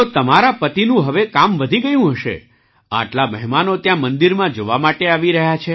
તો તમારા પતિનું હવે કામ વધી ગયું હશે આટલા મહેમાનો ત્યાં મંદિરમાં જોવા માટે આવી રહ્યા છે